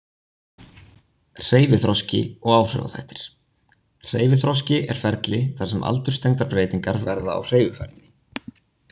Hreyfiþroski og áhrifaþættir Hreyfiþroski er ferli þar sem aldurstengdar breytingar verða á hreyfifærni.